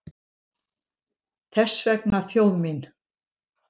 Þess vegna þjóð mín!